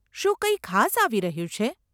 શું કંઈ ખાસ આવી રહ્યું છે?